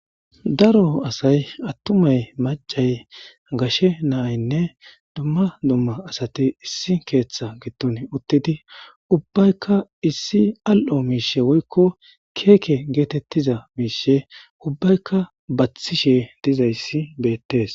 Daro asay attumay macay gashe naynne duma duma asati issi keetha gidon uttidi ubbayka issi al'o miishe woylo Keke getetiza miishe ubbayka bathishe dizaysi beetes.